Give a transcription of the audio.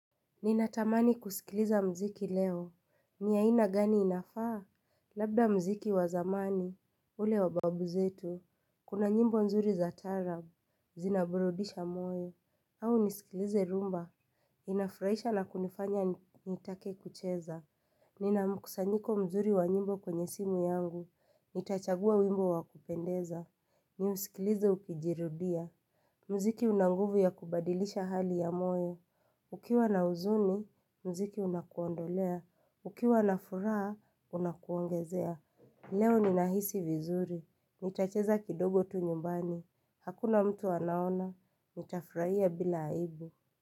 Ninatamani kusikiliza muziki leo. Ni ya aina gani inafaa? Labda muziki wa zamani. Ule wa babu zetu. Kuna nyimbo nzuri za taarab. Zina burudisha moyo. Au nisikilize rhumba. Inafurahisha na kunifanya nitake kucheza. Nina mkusanyiko mzuri wa nyimbo kwenye simu yangu. Nitachagua wimbo wa kupendeza. Niusikilize ukijirudia. Mziki unanguvu ya kubadilisha hali ya moyo. Ukiwa na huzuni, muziki unakuondolea. Ukiwa na furaha, unakuongezea. Leo ninahisi vizuri. Nitacheza kidogo tu nyumbani. Hakuna mtu anaona. Nitafurahia bila aibu.